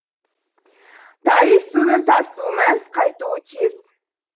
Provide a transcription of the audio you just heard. тайыз судың тасуы мәз қайтуы тез